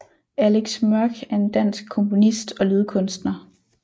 Alex Mørch er en dansk komponist og lydkunstner